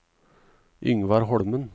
Yngvar Holmen